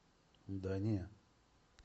да не